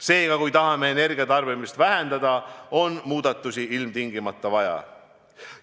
Seega, kui tahame energiatarbimist vähendada, on muudatusi ilmtingimata vaja.